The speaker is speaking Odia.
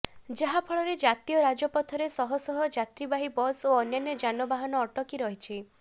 ଯାହାଫଳରେ ଜାତୀୟ ରାଜପଥରେ ଶହଶହ ଯାତ୍ରୀବାହୀ ବସ୍ ଓ ଅନ୍ୟାନ୍ୟ ଯାନବାହାନ ଅଟକି ରହିଛି